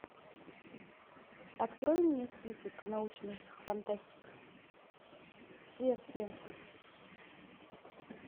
открой мне список научных фантастик все все